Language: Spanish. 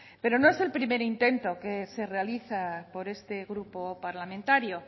pero no es el primer intento que se realiza por este grupo parlamentario